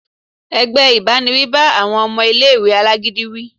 ẹgbẹ ìbáníwí bá awọn ọmọ ìlé-ìwé alágídí wí.